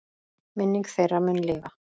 Minning þeirra mun lifa.